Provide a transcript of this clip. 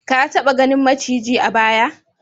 Ka taba ganin maciji a baya?